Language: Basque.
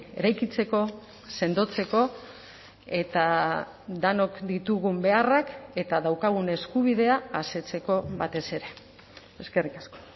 eraikitzeko sendotzeko eta denok ditugun beharrak eta daukagun eskubidea asetzeko batez ere eskerrik asko